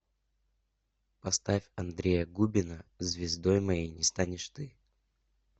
поставь андрея губина звездой моей не станешь ты